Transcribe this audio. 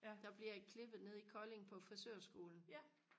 der bliver jeg klippet nede i Kolding på frisørskolen